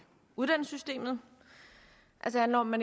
uddannelsessystemet det handler om at